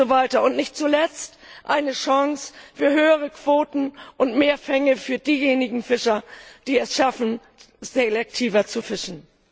und nicht zuletzt eine Chance auf höhere Quoten und mehr Fänge für diejenigen Fischer, die es schaffen, selektiver zu fischen.